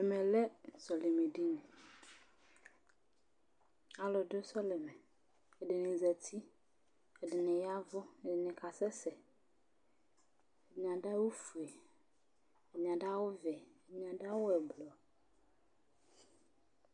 Ɛmɛ lɛ sɔlɩmɛdini Alʋ dʋ sɔlɩmɛ Ɛdɩnɩ zati, ɛdɩnɩ ya ɛvʋ, ɛdɩnɩ kasɛsɛ, ɛdɩnɩ adʋ awʋfue, ɛdɩnɩ adʋ awʋvɛ, ɛdɩnɩ adʋ awʋ ɛblɔ